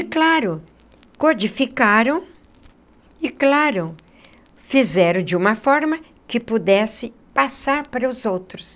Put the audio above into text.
Claro, codificaram e, claro, fizeram de uma forma que pudesse passar para os outros.